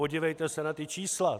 Podívejte se na ta čísla.